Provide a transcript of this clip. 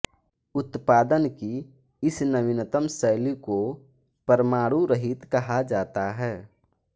उत्पादन की इस नवीनतम शैली को परमाणु रहित कहा जाता है